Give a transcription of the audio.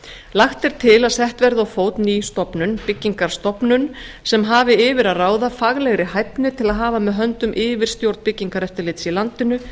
lagt er til að sett verði á fót ný stofnun byggingarstofnun sem hafi yfir að ráða faglegri hæfni til að hafa með höndum yfirstjórn byggingareftirlits í landinu